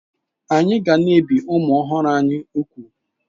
Anyị ga na-ebi ụmụ ọhụrụ anyị úgwù.